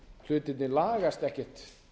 hlutirnir lagast ekkert